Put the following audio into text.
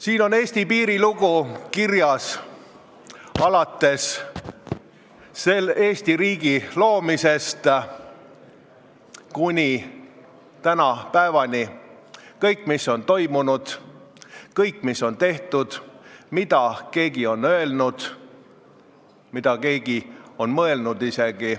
Siin on kirjas Eesti piiri lugu alates Eesti riigi loomisest kuni tänapäevani, kõik, mis on toimunud, kõik, mis on tehtud, kõik, mida keegi on öelnud, ja isegi kõik, mida keegi on mõelnud.